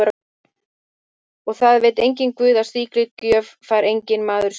Og það veit guð að slíkri gjöf fær enginn maður skilað.